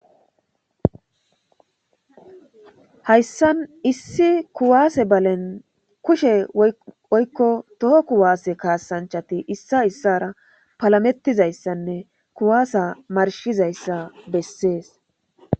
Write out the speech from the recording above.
Hayssan issi kuwaase balen kushe oykko toho kuwaase kaasanchati issa issara palamettizayssanne kuwaasa marshizayssa bessees.